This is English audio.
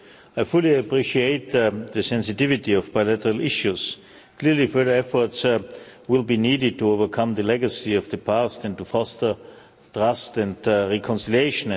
I fully appreciate the sensitivity of bilateral issues. Clearly, further efforts will be needed to overcome the legacy of the past and to foster trust and reconciliation.